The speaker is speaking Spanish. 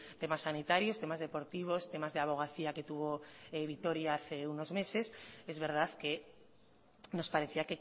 temas sanitarios temas deportivos temas de abogacía que tuvo vitoria hace unos meses es verdad que nos parecía